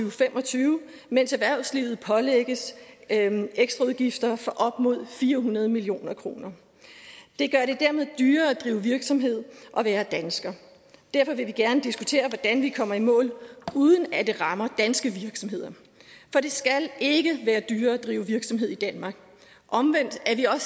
og fem og tyve mens erhvervslivet pålægges ekstraudgifter for op mod fire hundrede million kroner det gør det dermed dyrere at drive virksomhed og være dansker derfor vil vi gerne diskutere hvordan vi kommer i mål uden at det rammer danske virksomheder for det skal ikke være dyrere at drive virksomhed i danmark omvendt er